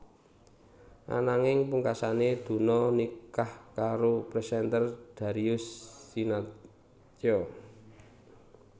Ananging pungkasané Donna nikah karo presenter Darius Sinathrya